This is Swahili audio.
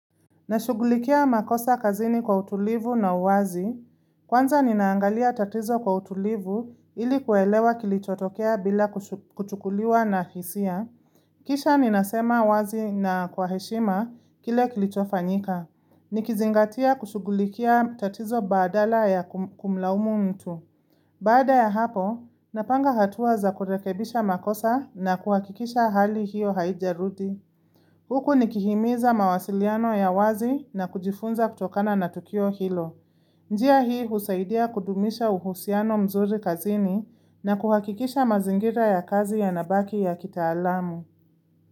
Nashugulikia makosa kazini kwa utulivu na uwazi. Kwanza ninaangalia tatizo kwa utulivu ili kuelewa kilichotokea bila kuchukuliwa na hisia. Kisha ninasema uwazi na kwa heshima kile kilichofanyika. Nikizingatia kushugulikia tatizo badala ya kumlaumu mtu. Baada ya hapo, napanga hatuwa za kurekebisha makosa na kuhakikisha hali hiyo haijarudi. Huku nikihimiza mawasiliano ya wazi na kujifunza kutokana na Tukio Hilo. Njia hii husaidia kudumisha uhusiano mzuri kazini na kuhakikisha mazingira ya kazi ya nabaki ya kitaalamu.